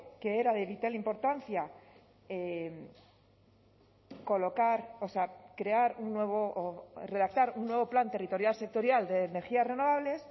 que era de vital importancia colocar o sea crear un nuevo o redactar un nuevo plan territorial sectorial de energías renovables